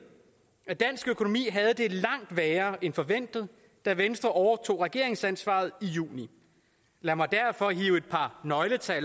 at dansk økonomi havde det langt værre end forventet da venstre overtog regeringsansvaret i juni lad mig derfor hive et par nøgletal